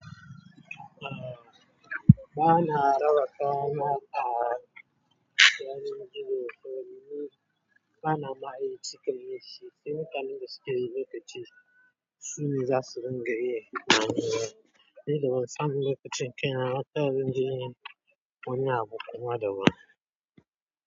A ba na raba kaya na a cikin gidan makafi. Ba na ma yi cika da shi sai wata daga cikin lokaci su ne za su ringa yi. Ni da ban san lokacin kaina ba, taya zan je yin wani abu kuma daban.